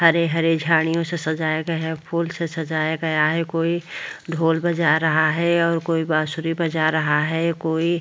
हरे - हरे झाड़ियों से सजाया गया है फुल से सजाया गया है कोई ढोल बजा रहा है और कोई बांसुरी बजा रहा है कोई --